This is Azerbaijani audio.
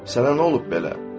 Sənə nə olub belə?